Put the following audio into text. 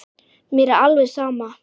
Mér er alveg sama